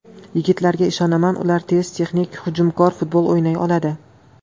Yigitlarga ishonaman, ular tez, texnik, hujumkor futbol o‘ynay oladi.